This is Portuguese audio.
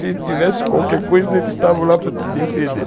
Se tivesse qualquer coisa, eles estavam lá para te defender.